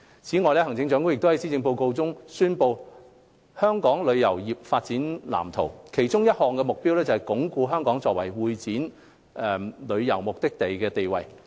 此外，行政長官亦於施政報告中宣布香港旅遊業發展藍圖，其中一項目標是鞏固香港作為會展旅遊目的地的地位。